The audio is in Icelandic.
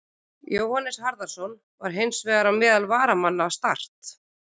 Jóhannes Harðarson var hins vegar á meðal varamanna Start.